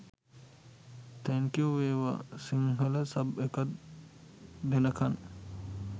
thank you වේවා Sinhala sub එකක් දෙනකන්